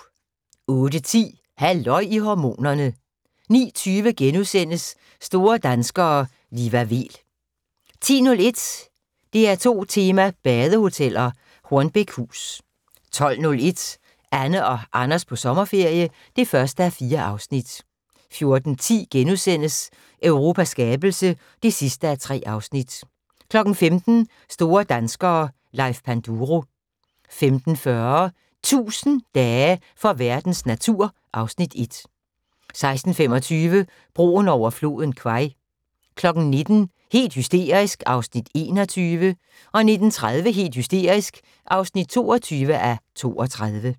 08:10: Halløj i hormonerne 09:20: Store danskere - Liva Weel * 10:01: DR2 tema: Badehoteller - Hornbækhus 12:01: Anne og Anders på sommerferie (1:4) 14:10: Europas skabelse (3:3)* 15:00: Store danskere - Leif Panduro 15:40: 1000 dage for verdens natur (Afs. 1) 16:25: Broen over floden Kwai 19:00: Helt hysterisk (Afs. 21) 19:30: Helt hysterisk (22:32)